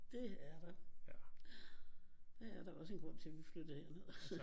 Det er der der er da også en grund til at vi flyttede herned